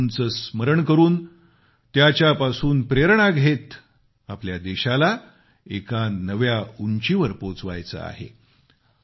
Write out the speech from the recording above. आणि बापूंचे स्मरण करून त्याच्यापासून प्रेरणा घेत आपल्या देशाला एका नव्या उंचीवर पोचवायचे आहे